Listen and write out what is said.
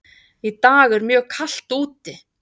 Í dag er mjög kalt úti.